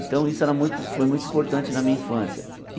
Então, isso era muito foi muito importante na minha infância.